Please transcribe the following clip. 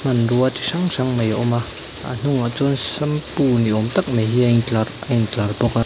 hmanrua chi hrang hrang mai a awm a a hnungah chuan shampoo ni awm tak mai hi a intlar a intlar bawk a.